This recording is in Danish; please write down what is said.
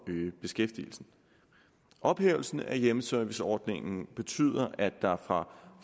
øge beskæftigelsen ophævelsen af hjemmeserviceordningen betyder at der fra